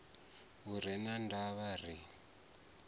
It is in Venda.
lu re na ndavha ri